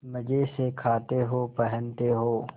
मजे से खाते हो पहनते हो